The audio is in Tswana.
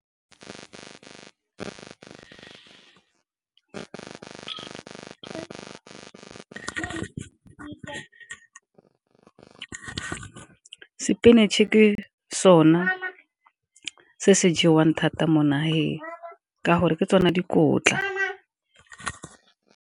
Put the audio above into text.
Spinach-e ke sona se se jewang thata mo nageng, ka gore ke tsone dikotla